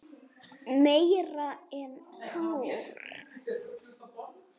Meira en ár.